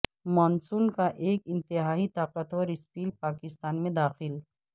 مون سون کا ایک انتہائی طاقتور سپیل پاکستان میں داخل